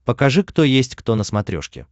покажи кто есть кто на смотрешке